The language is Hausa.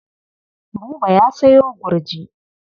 Buba ya sayo gurji.